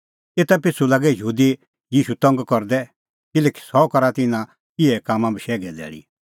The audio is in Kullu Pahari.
एता पिछ़ू लागै यहूदी ईशू तंग करदै किल्हैकि सह करा त इना इहै कामां बशैघे धैल़ी